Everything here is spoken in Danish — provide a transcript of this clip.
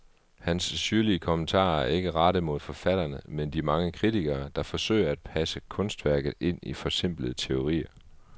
Hans syrlige kommentarer er ikke rettet mod forfatterne, men de mange kritikere, der forsøger at passe kunstværket ind i forsimplende teorier.